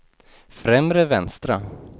främre vänstra